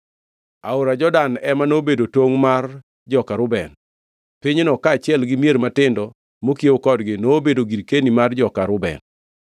Aora Jordan ema nobedo tongʼ mar joka Reuben. Pinyno kaachiel gi mier matindo mokiewo kodgi nobedo girkeni mar joka Reuben.